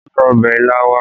Gbé ọbẹ̀ ilá wá!